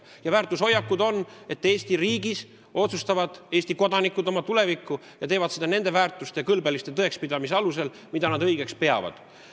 Ja väärtushoiak peab olema, et Eesti riigis otsustavad Eesti kodanikud oma tulevikku ja teevad seda nende väärtushinnangute ja kõlbeliste tõekspidamiste alusel, mida nad õigeks peavad.